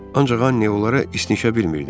Ancaq Anni onlara istinişə bilmirdi.